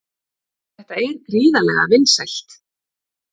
Þetta er gríðarlega vinsælt